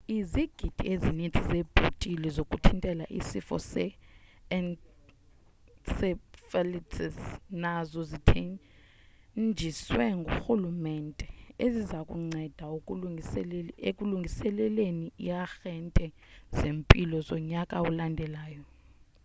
izigidi ezininzi zeebhotile zokuthintela isifo se-encephalitis nazo zithenjisiwe ngurhulumente eziza kunceda ekulungiseleleni iiarhente zempilo zonyaka olandelayo